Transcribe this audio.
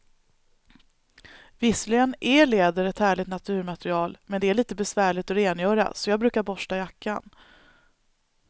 Visserligen är läder ett härligt naturmaterial, men det är lite besvärligt att rengöra, så jag brukar borsta jackan.